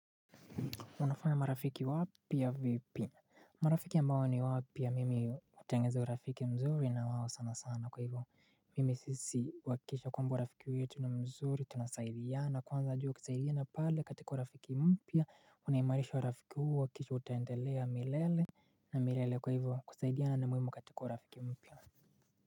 Unafanya marafiki wapi ya vipi. Marafiki ambao ni wapya mimi hutengeneza urafiki mzuri na wao sana sana kwa hivyo mimi sisi hukikisha kwamba urafiki yetu ni mzuri, tunasaidiana kwanza jua kisaidiyana pale katika urafiki mpya. Uniamarisha urafiki huo kisha utaendelea milele. Na milele kwa hivyo kusaidiana na muhimu katika urafiki mpya.